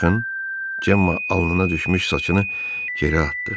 Baxın, Cemma alnına düşmüş saçını geri atdı.